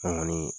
An kɔni